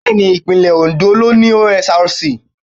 Bẹ́ẹ̀ni Ìpínlẹ̀ Oǹdó ló ni OSRC.